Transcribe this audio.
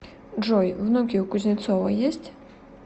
джой внуки у кузнецова есть